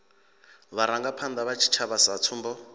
vharangaphanda vha tshitshavha sa tsumbo